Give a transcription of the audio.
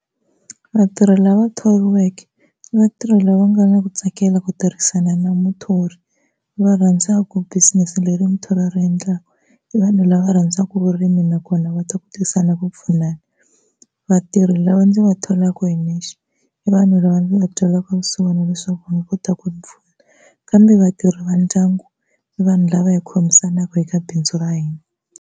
Vatirhi lava thoriweke i vatirhi lava nga na ku tsakela ku tirhisana na muthori, va rhandzaku business leri muthori a ri endlaka, i vanhu lava va rhandzaka vurimi nakona va ku ku pfunana. Vatirhi lava ni va tholaka hi nexe i vanhu lava ni va twelaka vusiwana ku va kota ku ni pfuna. Kambe vatirhi vandyangu i vanhu lava hi khomisanaka eka bindzu ra hina.